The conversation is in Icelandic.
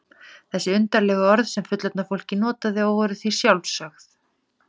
Þessi undarlegu orð sem fullorðna fólkið notaði og voru því sjálfsögð.